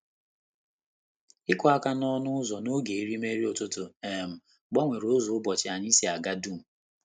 Ịkụ aka n'ọnụ ụzọ n'oge erimeri ụtụtụ um gbanwere ụzọ ụbọchị anyị si aga dum.